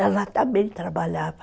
Ela também trabalhava.